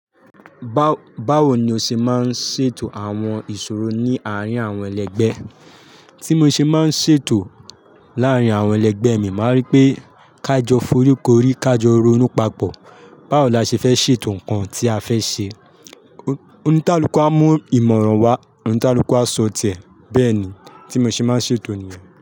Ba-bawo ni o ṣe máa ń ṣètò àwọn ìṣòro ní àárín àwọn ẹlẹgbẹ́? Tí mo ṣe máa ń ṣètò láàárín àwọn ẹlẹgbẹ́ mi, màá rí pé ká jọ foríko orí, ká jọ ronú papọ̀. Báwo la ṣe fẹ́ ṣètò nǹkan tí a fẹ́ ṣe? Oníkáluku á mú ìmọ̀ràn wá, oníkaluku á sọ tiẹ̀. Bẹ́ẹ̀ni tí mo ṣe máa ń ṣètò nìyẹn.